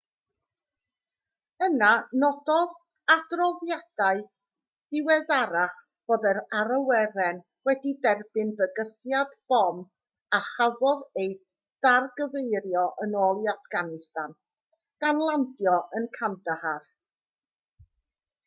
yna nododd adroddiadau diweddarach fod yr awyren wedi derbyn bygythiad bom a chafodd ei dargyfeirio yn ôl i affganistan gan landio yn kandahar